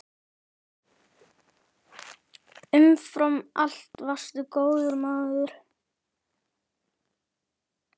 Umfram allt varstu góður maður.